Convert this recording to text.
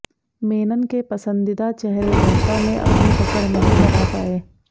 मेनन के पसंदीदा चेहरे जनता में अपनी पकड़ नहीं बना पाए